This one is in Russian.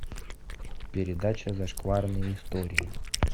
передача зашкварные истории